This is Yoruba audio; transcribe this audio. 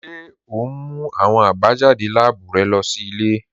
Ṣe o n mú awọn àbájádé láàbù rẹ lọ sí ilẹ̀?